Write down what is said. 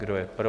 Kdo je pro?